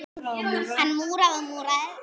Hann múraði og múraði.